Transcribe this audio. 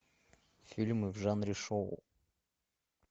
фильмы в жанре шоу